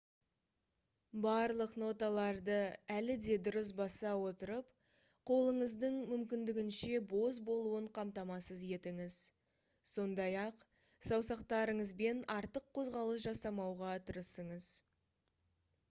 барлық ноталарды әлі де дұрыс баса отырып қолыңыздың мүмкіндігінше бос болуын қамтамасыз етіңіз сондай-ақ саусақтарыңызбен артық қозғалыс жасамауға тырысыңыз